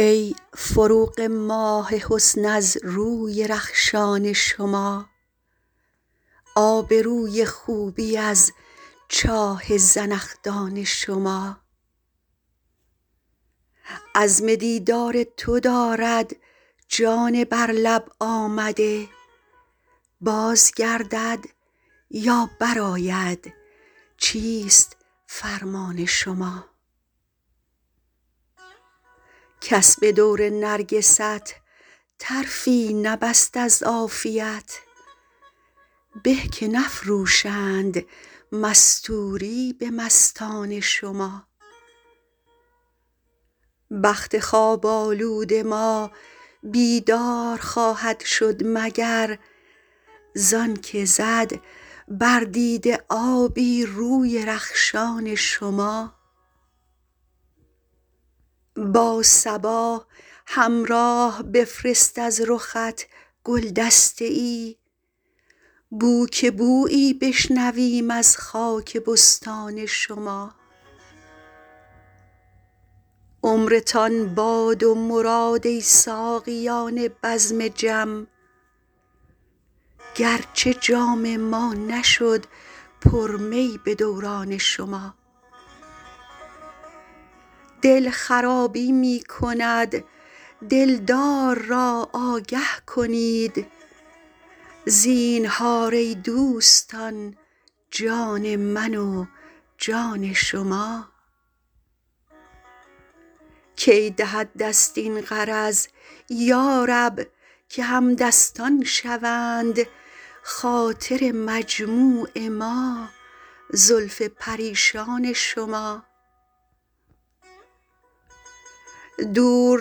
ای فروغ ماه حسن از روی رخشان شما آب روی خوبی از چاه زنخدان شما عزم دیدار تو دارد جان بر لب آمده باز گردد یا برآید چیست فرمان شما کس به دور نرگست طرفی نبست از عافیت به که نفروشند مستوری به مستان شما بخت خواب آلود ما بیدار خواهد شد مگر زان که زد بر دیده آبی روی رخشان شما با صبا همراه بفرست از رخت گل دسته ای بو که بویی بشنویم از خاک بستان شما عمرتان باد و مراد ای ساقیان بزم جم گرچه جام ما نشد پر می به دوران شما دل خرابی می کند دلدار را آگه کنید زینهار ای دوستان جان من و جان شما کی دهد دست این غرض یا رب که همدستان شوند خاطر مجموع ما زلف پریشان شما دور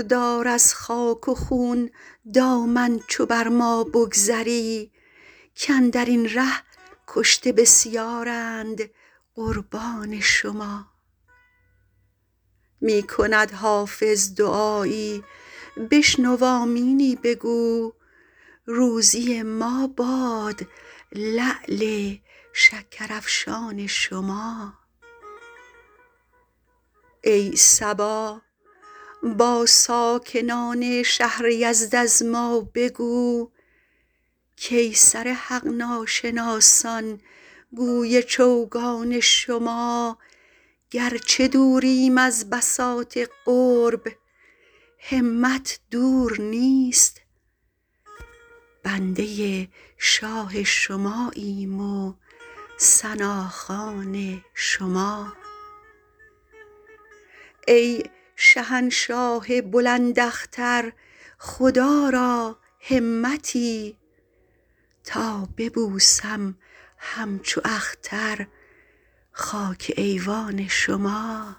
دار از خاک و خون دامن چو بر ما بگذری کاندر این ره کشته بسیارند قربان شما می کند حافظ دعایی بشنو آمینی بگو روزی ما باد لعل شکرافشان شما ای صبا با ساکنان شهر یزد از ما بگو کای سر حق ناشناسان گوی چوگان شما گرچه دوریم از بساط قرب همت دور نیست بنده شاه شماییم و ثناخوان شما ای شهنشاه بلند اختر خدا را همتی تا ببوسم همچو اختر خاک ایوان شما